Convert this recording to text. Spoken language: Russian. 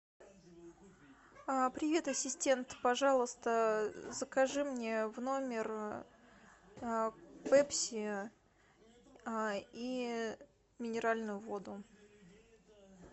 привет ассистент пожалуйста закажи мне в номер пепси и минеральную воду